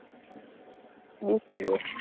BCA